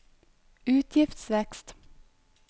utgiftsvekst